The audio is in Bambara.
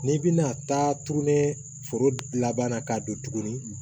N'i bɛna taa tugunni foro laban na k'a don tuguni